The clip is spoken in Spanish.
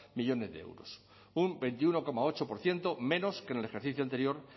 millónes de euros un veintiuno coma ocho por ciento menos que en el ejercicio anterior